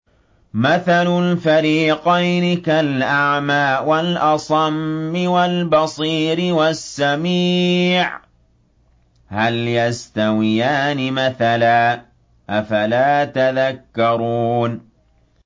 ۞ مَثَلُ الْفَرِيقَيْنِ كَالْأَعْمَىٰ وَالْأَصَمِّ وَالْبَصِيرِ وَالسَّمِيعِ ۚ هَلْ يَسْتَوِيَانِ مَثَلًا ۚ أَفَلَا تَذَكَّرُونَ